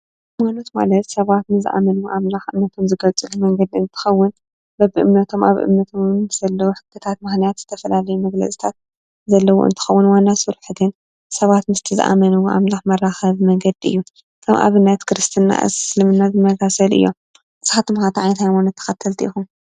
ሃይማኖት ማለት ድቂ ሰባት ንዝኣመንዎ ኣምላክ እምነቶም ዝገልፅሉ መንገዲ እንትከዉን በቢ እምነቶን ኣብ እምነቶም ምስ ዘለዉ ሕግታት ምክንያት ዝተፈላለዩ መግልፅታት ዘለዎ እንትከዉን ዋና ስርሑ ግን ምስቲ ዘኣምነዎ ኣምላኽ መራከቢ መንገዲ እዩ። ከም ኣብነት ክርስትና እስልምና ዝመሳሰሉ እዮም። ንስካትኩም ኸ እንታይ ዓይነት ሃይማኖት ተወተልቲ ኢኹም?